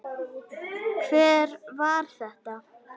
Hver var þetta?